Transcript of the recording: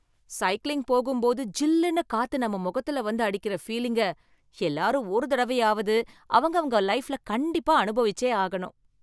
Cycling போகும்போது ஜில்லுன்னு காத்து நம்ம முகத்துல வந்து அடிக்கற பீலிங்க, எல்லாரும் ஒரு தடவையாவது அவங்கவங்க லைஃப்ல கண்டிப்பா அனுபவிச்சே ஆகணும்.